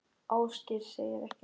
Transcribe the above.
Ásgeir segir ekkert.